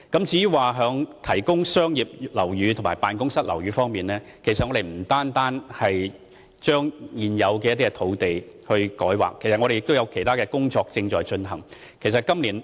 至於提供商業樓宇和辦公室樓宇方面，我們不單把現有的土地進行改劃，也正在進行其他工作。